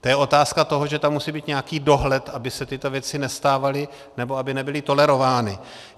To je otázka toho, že tam musí být nějaký dohled, aby se tyto věci nestávaly nebo aby nebyly tolerovány.